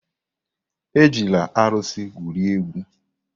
Ejila arụsị egwuri egwu!